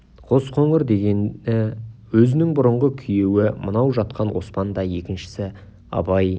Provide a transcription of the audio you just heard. қос қоңыр дегені өзінің бұрынғы күйеуі мынау жатқан оспан да екіншісі абай